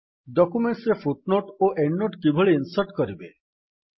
document ରେ footnote ଓ endnote କିଭଳି ଇନ୍ସର୍ଟ କରିବେ